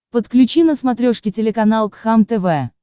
подключи на смотрешке телеканал кхлм тв